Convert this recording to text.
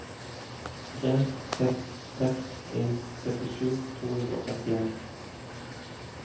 tre seks seks en syttisju to hundre og trettien